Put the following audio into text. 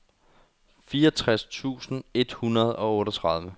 fireogtres tusind et hundrede og otteogtredive